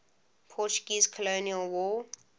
portuguese colonial war